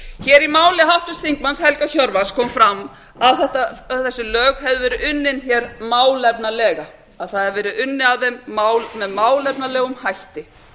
hér í máli háttvirts þingmanns helga hjörvar kom fram að þessi lög hefðu verið unnin hér málefnalega að það hefði verið unnið að þeim með málefnalegum hætti